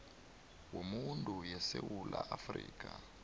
wobuntu yesewula afrika